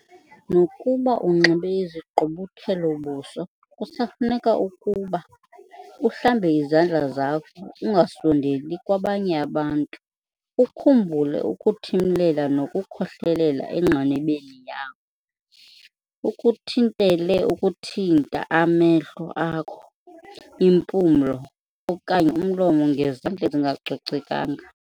Nokuba unxibe izigqubuthelo-buso kusafuneka ukuba- uhlambe izandla zakho ungasondeli kwabanye abantu ukhumbule ukuthimlela nokukhohlelela engqinibeni yakho ukuthintele ukuthinta amehlo akho, impumlo okanye umlomo ngezandla ezingacocekanga.